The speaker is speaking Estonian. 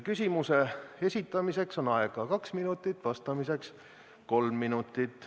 Küsimuse esitamiseks on aega kaks minutit, vastamiseks kolm minutit.